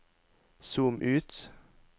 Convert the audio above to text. zoom ut